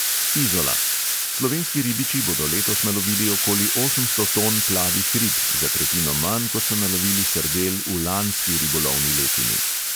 Izola – slovenski ribiči bodo letos nalovili okoli osemsto ton plavih rib, za tretjino manj, kot so nalovili sardel v lanski ribolovni letini.